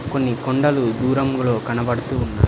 కొన్ని కొండలు దూరంలో కనబడుతూ ఉన్నాయి.